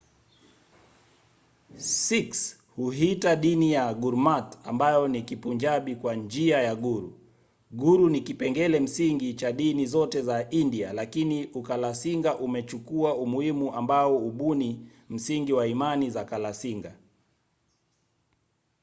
sikhs huiita dini yao gurmat ambayo ni kipunjabi kwa njia ya guru". guru ni kipengele msingi cha dini zote za india lakini ukalasinga umechukua umuhimu ambao hubuni msingi wa imani za kalasinga